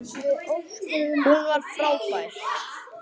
Hún var frábær.